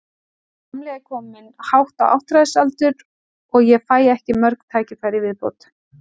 Sá gamli er kominn hátt á áttræðisaldur og ég fæ ekki mörg tækifæri í viðbót.